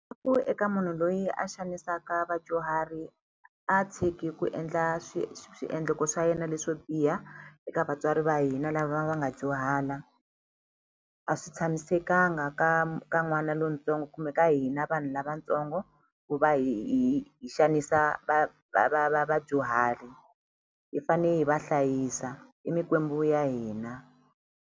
Ku eka munhu loyi a xanisaka vadyuhari a tshiki ku endla swiendlo swa yena leswo biha eka vatswari va hina lava va nga dyuhala a swi tshamisekanga nga ka ka n'wana lontsongo kumbe ka hina vanhu lavatsongo ku va hi hi hi xanisa vadyuhari hi fane hi va hlayisa i mikwembu ya hina.